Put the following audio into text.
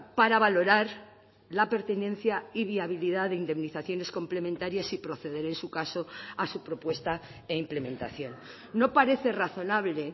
para valorar la pertinencia y viabilidad de indemnizaciones complementarias y proceder en su caso a su propuesta e implementación no parece razonable